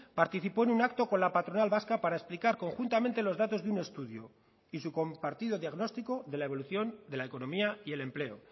participó en un acto con la patronal vasca para explicar conjuntamente los datos de un estudio y su compartido diagnóstico de la evolución de la economía y el empleo